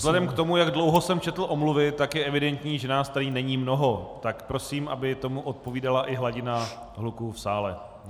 Vzhledem k tomu, jak dlouho jsem četl omluvy, tak je evidentní, že nás tady není mnoho, tak prosím, aby tomu odpovídala i hladina hluku v sále.